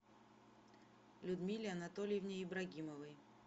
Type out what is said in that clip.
людмиле анатольевне ибрагимовой